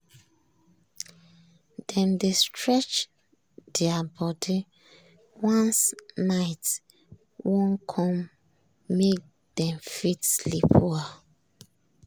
dem dey stretch their body once night wan come make dem fit sleep well.